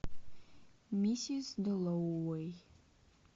миссис дэллоуэй